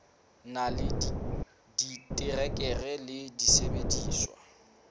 na le diterekere le disebediswa